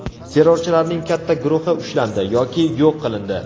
Terrorchilarning katta guruhi ushlandi yoki yo‘q qilindi.